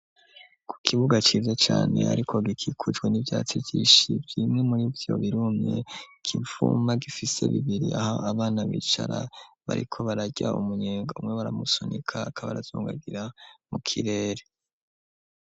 Ku kibuga ciza cane ariko gikikujwe n'ibyatsi byishi byimwe muri vyo birumye kivuma gifise bibiri aho abana bicara bariko barajya umunyenga umwe baramusunika akaba razungagira mu kirere.